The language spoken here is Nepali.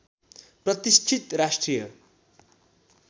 प्रतिष्ठित राष्ट्रिय